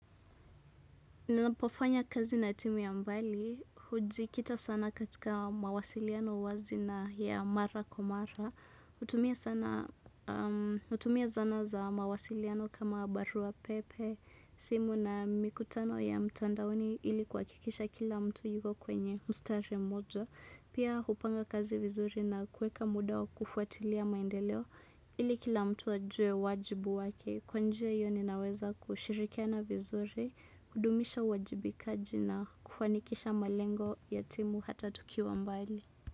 Ninapofanya kazi na timu ya mbali, hujikita sana katika mawasiliano wazi na ya mara kwa mara, hutumia sana, hutumia zana za mawasiliano kama barua pepe, simu na mikutano ya mtandaoni ili kuhakikisha kila mtu yuko kwenye mstari mmoja. Pia hupanga kazi vizuri na kuweka muda wa kufuatilia maendeleo ili kila mtu ajue wajibu wake. Kwa njia hiyo ninaweza kushirikiana vizuri, kudumisha wajibikaji na kufanikisha malengo ya timu hata tukiwa mbali.